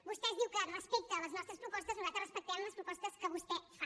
vostè diu que respecta les nostres propostes nosaltres respectem les propostes que vostè fa